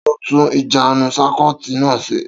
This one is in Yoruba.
Ta ló tun ìjánun sákúitì náà ṣe?